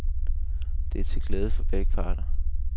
Dette er til glæde for begge parter.